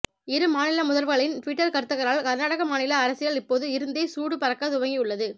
இரு மாநிலமுதல்வர்களின் டுவிட்டர் கருத்துக்களால் கர்நாடக மாநில அரசியல் இப்போது இருந்தே சூடு பறக்க துவங்கி உள்ளது